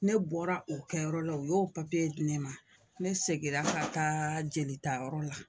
Ne bɔra o kɛyɔrɔ la o y'o papiye di ne ma ne seginna ka taa jelitayɔrɔ la